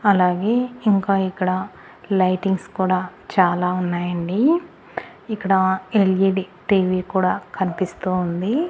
అలాగే ఇంకా ఇక్కడ లైటింగ్స్ కూడా చాలా ఉన్నాయండి ఇక్కడ ఎల్_ఈ_డి టీ_వీ కూడా కనిపిస్తూ ఉంది.